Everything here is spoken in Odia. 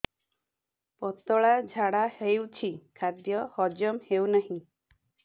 ପତଳା ଝାଡା ହେଉଛି ଖାଦ୍ୟ ହଜମ ହେଉନାହିଁ